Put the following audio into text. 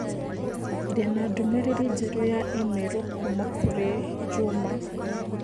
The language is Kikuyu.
Ndĩ na ndũmĩrĩri njerũ ya i-mīrū kuuma kũrĩ Njuma